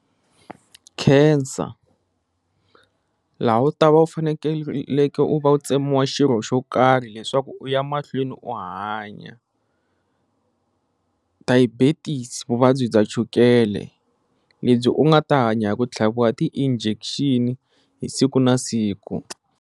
Cancer laha u ta va u fanekeleke u va u tsemiwa xirho xo karhi leswaku u ya mahlweni u hanya, diabetes vuvabyi bya chukele lebyi u nga ta hanya hi ku tlhaviwa ti-injection siku na siku.